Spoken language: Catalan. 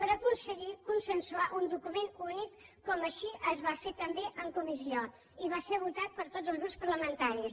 per aconseguir consensuar un document únic com així es va fer també en comissió i va ser votat per tots els grups parlamentaris